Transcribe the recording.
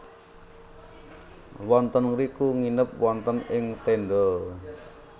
Wonten ngriku nginep wonten ing tenda